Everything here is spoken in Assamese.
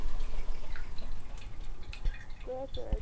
কৈ আছে